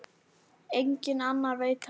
Enginn annar veit af nefinu.